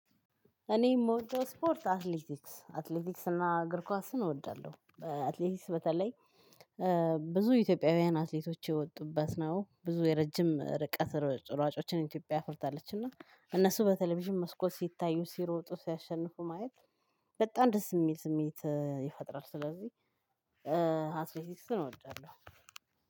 እኔ የምወደው ስፖርት አትሌቲክስ አትሌቲክስ እና እግር ኳስን እወዳለሁ። አትሌቲክስ በተለይ ብዙ ኢትዮጵያውያን አትሌቶች የወጡባት ነው። ብዙ የረዥም ርቀት ሯጮችን ኢትዮጵያ አፍርታለች። እና እነሱ በቴሌቭዥን መስኮት ሲታዩ ሲሮጡ ሲያሽንፉ ማየት በጣም ደስ የሚል ስሜት ይፈጥራል። ስለዚህ አትሌቲክስን እወዳለው።